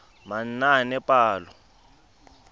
manaanepalo